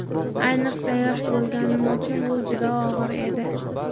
Ayniqsa yosh bo‘lganim uchun bu juda og‘ir edi.